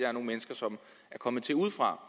er nogle mennesker som er kommet til udefra